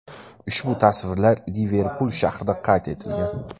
Ushbu tasvirlar Liverpul shahrida qayd etilgan.